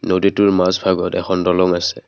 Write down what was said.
নদীটোৰ মাজ ভাগত এখন দলং আছে।